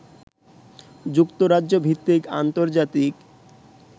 যুক্তরাজ্য ভিত্তিক আন্তর্জাতিক